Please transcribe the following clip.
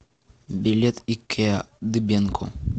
билет икеа дыбенко